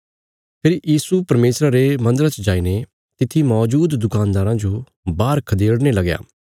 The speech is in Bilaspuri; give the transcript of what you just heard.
फेरी यीशु परमेशरा रे मन्दरा च जाईने तित्थी मौजूद दुकानदारां जो बाहर खदेड़ने लगया